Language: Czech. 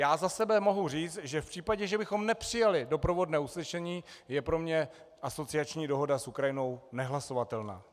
Já za sebe mohu říct, že v případě, že bychom nepřijali doprovodné usnesení, je pro mě asociační dohoda s Ukrajinou nehlasovatelná.